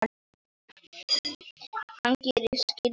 Hann gerir skyldu sína.